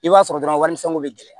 I b'a sɔrɔ dɔrɔn wali misɛnw bɛ gɛlɛya